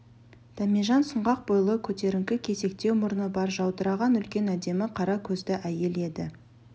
дәмежан сұңғақ бойлы көтеріңкі кесектеу мұрны бар жаудыраған үлкен әдемі қара көзді әйел еді